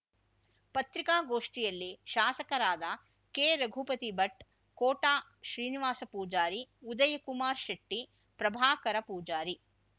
ಪತ್ರಿಕಾಗೋಷ್ಠಿಯಲ್ಲಿ ಶಾಸಕರಾದ ಕೆರಘುಪತಿ ಭಟ್ ಕೋಟ ಶ್ರೀನಿವಾಸ ಪೂಜಾರಿ ಉದಯಕುಮಾರ್ ಶೆಟ್ಟಿ ಪ್ರಭಾಕರ ಪೂಜಾರಿ